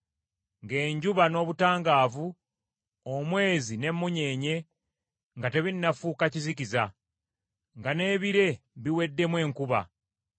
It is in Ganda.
ng’enjuba n’obutangaavu, omwezi n’emmunyeenye nga tebinnafuuka kizikiza; nga n’ebire biweddemu enkuba;